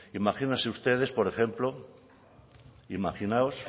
imagínense ustedes por ejemplo imaginaos